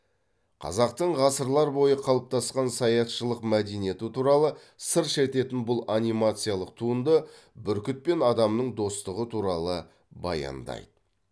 қазақтың ғасырлар бойы қалыптасқан саятшылық мәдениеті туралы сыр шертетін бұл анимациялық туынды бүркіт пен адамның достығы туралы баяндайды